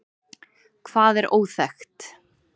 Hvað er óþekkt?